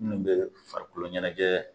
Munnu bɛ farikolo ɲɛnajɛ.